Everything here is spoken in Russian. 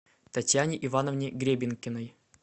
татьяне ивановне гребенкиной